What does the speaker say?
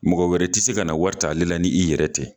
Mɔgɔ wɛrɛ tɛ se ka na wari ta ale la ni i yɛrɛ tɛ.